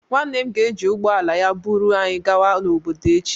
Nwanne m ga-eji ụgbọ ala ya buru anyị gawa n'obodo echi